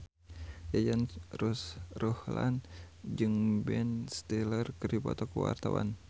Yayan Ruhlan jeung Ben Stiller keur dipoto ku wartawan